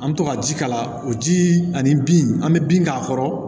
An bɛ to ka ji k'a la o ji ani bin an be bin k'a kɔrɔ